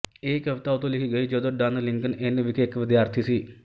ਇਹ ਕਵਿਤਾ ਉਦੋਂ ਲਿਖੀ ਗਈ ਜਦੋਂ ਡਨ ਲਿੰਕਨ ਇੰਨ ਵਿਖੇ ਇੱਕ ਵਿਦਿਆਰਥੀ ਸੀ